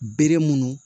Bere munnu